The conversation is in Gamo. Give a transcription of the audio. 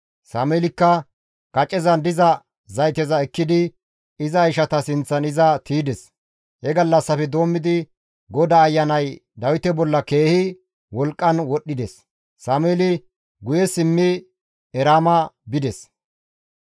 Sameelikka kacezan diza zayteza ekkidi iza ishata sinththan iza tiydes. He gallassafe doommidi GODAA Ayanay Dawite bolla keehi wolqqan wodhdhides; Sameeli guye simmi Eraama bides.